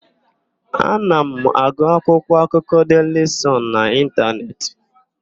Ana m agụ akwụkwọakụkọ Deili Sọn n'Ịntanetị.